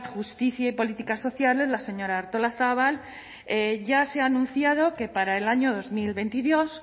justicia y políticas sociales la señora artolazabal ya se ha anunciado que para el año dos mil veintidós